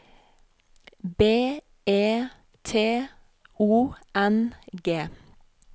B E T O N G